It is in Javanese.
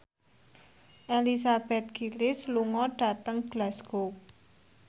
Elizabeth Gillies lunga dhateng Glasgow